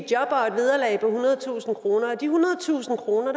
job og et vederlag på ethundredetusind kroner de ethundredetusind kroner